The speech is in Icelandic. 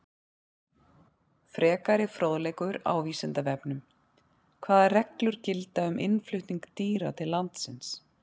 Frekari fróðleikur á Vísindavefnum: Hvaða reglur gilda um innflutning dýra til landsins?